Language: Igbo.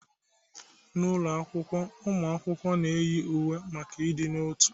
N'ụlọ akwụkwọ, ụmụ akwụkwọ na-eyi uwe maka ịdị n'otu.